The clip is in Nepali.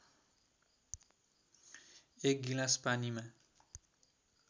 एक गिलास पानीमा